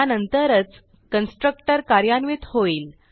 त्यानंतरच कन्स्ट्रक्टर कार्यान्वित होईल